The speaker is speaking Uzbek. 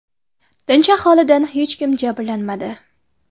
Tinch aholidan hech kim jabrlanmadi.